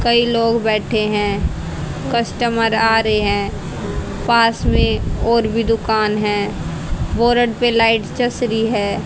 कई लोग बैठे हैं। कस्टमर आ रहे हैं। पास में और भी दुकान है बोर्ड पे लाइट जस रही है।